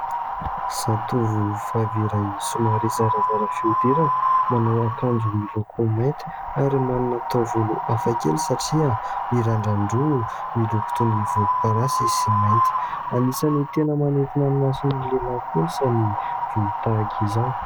Zatovo vavy iray somary zarazara fihodirana manao akanjo miloko mainty ary manana taovolo hafakely satria mirandran-droa miloko toa ny volomparasy sy mainty, anisany tena manitona ny mason'ny lehilahy kosa ny volo tahaka izao.